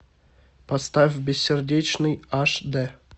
поставь бессердечный аш д